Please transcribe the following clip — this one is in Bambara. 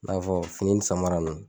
I n'a fɔ fini nin samara nunnu.